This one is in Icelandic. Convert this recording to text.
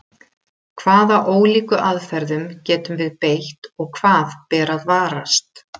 Hvaða ólíku aðferðum getum við beitt og hvað ber að varast?